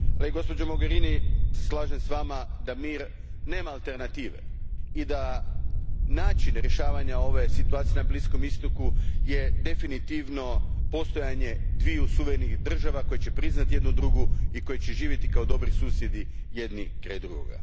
Gđo Mogherini, slažem se s vama da mir nema alternative i da je način rješavanja ove situacije na Bliskom istoku definitivno postojanje dviju suverenih država koje će priznati jedna drugu i koje će živjeti kao dobri susjedi jedna pored druge.